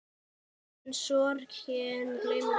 En sorgin gleymir engum.